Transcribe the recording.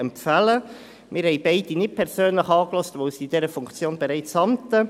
Wir haben beide nicht persönlich angehört, weil sie in dieser Funktion bereits amten.